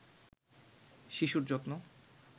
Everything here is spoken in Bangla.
শিশুর যত্ন